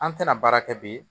An tɛna baara kɛ bi